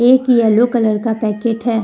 एक yellow colour का packet है।